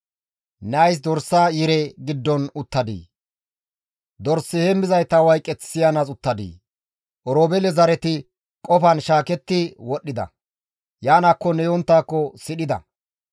Ne ays dorsa yire giddon uttadii? dors heemmizayta wayqeth siyanaas uttadii? Oroobeele zareti qofan shaaketti wodhdhida; Yaanaakkonne yonttaakko sidhida.